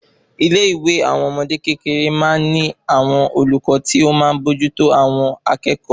Ilé ìwé àwọn ọmọdé kékeré má n ní àwọn olùkọ́ ti ọ máa n bójú tó àwọn akékòó